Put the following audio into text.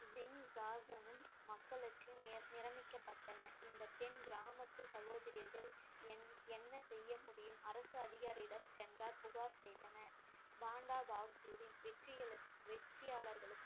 சிங் ஜார்ஜனும் மக்களுக்கு நிர~ நிரம்பிக்கப்பட்டன இந்த பெண் கிராமத்து சகோதரர்கள் என்~ என்ன செய்ய முடியும் அரசு அதிகாரியிடம் சென்றால் புகார் செய்தனர் பாண்டா பகதூரின் வெற்றிகளு~ வெற்றியாளர்களுக்கும்